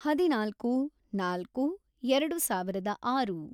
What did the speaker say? ಹದಿನಾಲ್ಕು, ನಾಲ್ಕು, ಎರೆಡು ಸಾವಿರದ ಆರು